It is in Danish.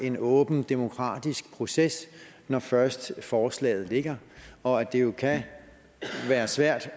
en åben demokratisk proces når først forslaget ligger og at det jo kan være svært